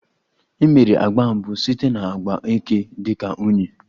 E mere agba mbụ site na agba eke dị ka unyi